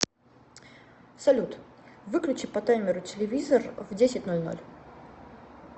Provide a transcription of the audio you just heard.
салют выключи по таймеру телевизор в десять ноль ноль